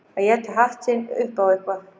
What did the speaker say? Að éta hatt sinn upp á eitthvað